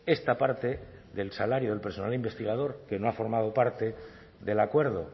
esta parte del salario del personal investigador que no ha formado parte del acuerdo